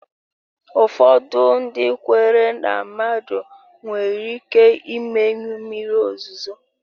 Ụfọdụ ndị kweere na mmadụ nwere ike imenyụ mmiri ozuzo